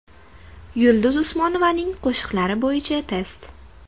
Yulduz Usmonovaning qo‘shiqlari bo‘yicha test.